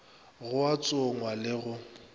go a tsongwa le go